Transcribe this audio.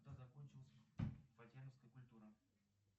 когда закончилась фатьяновская культура